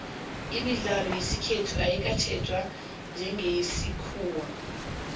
imidlalo yesikhethu ayikatjhejwa njengeyesikhuwa